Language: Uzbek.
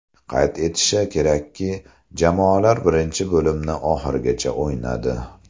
Qayd etish kerakki, jamoalar birinchi bo‘limni oxirigacha o‘ynadi.